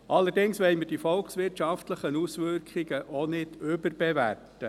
Allerdings wollen wir die volkswirtschaftlichen Auswirkungen auch nicht überbewerten.